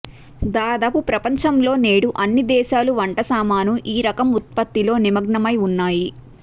దాదాపు ప్రపంచంలో నేడు అన్ని దేశాలు వంటసామాను ఈ రకం ఉత్పత్తిలో నిమగ్నమై ఉన్నాయి